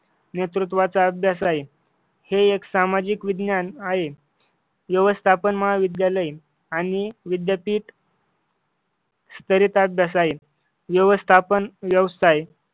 नेतृत्वाचा अभ्यास आहे. हे एक सामाजिक विज्ञान आहे. व्यवस्थापन महाविद्यालय आणि विद्यापीठ स्तरित अभ्यास आहे व्यवस्थापन व्यवसाय